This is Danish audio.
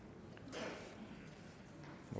vi